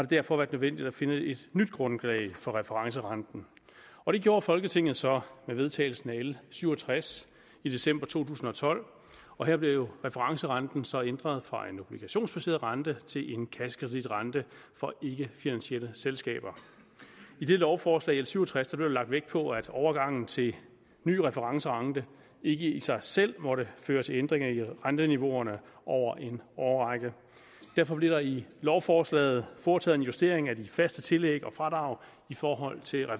derfor været nødvendigt at finde et nyt grundlag for referencerenten og det gjorde folketinget så med vedtagelsen af l syv og tres i december to tusind og tolv og her blev referencerenten så ændret fra en obligationsbaseret rente til en kassekreditrente for ikkefinansielle selskaber i det lovforslag l syv og tres blev der lagt vægt på at overgangen til en ny referencerente ikke i sig selv måtte føre til ændringer i renteniveauerne over en årrække derfor blev der i lovforslaget foretaget en justering af de faste tillæg og fradrag i forhold til